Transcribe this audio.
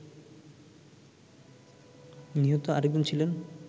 নিহত আরেকজন ছিলেন